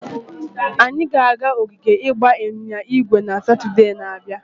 Anyị ga-aga ogige ịgba ịnyịnya ígwè na Satọde na-abịa.